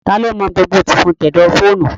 Taa ló mọ gbogbo tìfun tẹ̀dọ̀ fóònù?